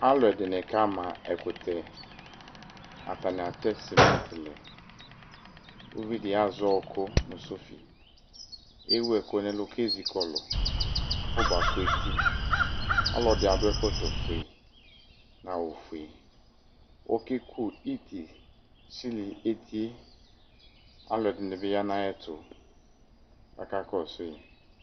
Ɛmɛ lɛ ɛfʋ zɔ UWolowuAlʋ zati nʋ ɛfʋ zɔ Uwolowue; alʋ wanɩ dza petee dʋ ɛfɛƐdɩ akɔ duku, ɛdɩ bɩ n'akɔ duku ekele ɛlʋ layɛ ,adʋ afʋkpa wɛAlʋ dɩnɩ ka ma ɛkʋtɛAtanɩ atɛ sɩmɩtɩ lɛ; uvi dɩ azɛ ɔkʋ nʋ sɔfɩ, ewu ɛkʋ n' ɛlʋ k' ezikɔlʋ afɔba kʋ etiƆlɔdɩ adʋ ɛkɔtɔ fue, nʋ awʋ fue Ɔku iti sili etie, alʋ ɛdɩnɩ bɩ ya n' ayɛ kaka kɔsʋɩ